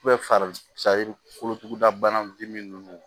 fari kolotugudabana ninnu